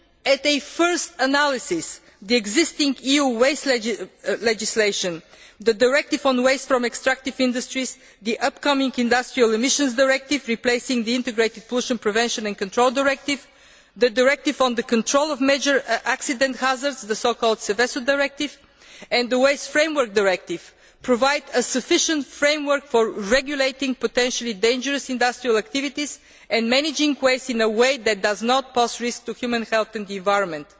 At a first analysis, the existing EU waste legislation, the directive on waste from extractive industries, the upcoming Industrial Emissions Directive replacing the Integrated Pollution Prevention and Control Directive, the directive on the control of major accident hazards, the so called Seveso Directive, and the Waste Framework Directive provide a sufficient framework for regulating potentially dangerous industrial activities and managing waste in a way that does not pose risks to human health and the environment.